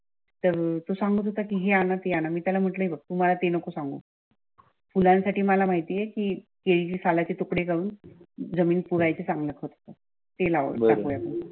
तर तो सांगत होता कीहे आणा ते आणा आला त्यांन मी त्याला म्हटलं हे बघ, मला रते नको सांगू. फुलांसाठी मला माहिती कि केळीचे सालचे तुकडे काढून जमिनीत पुरायचे चांगल खत होत ते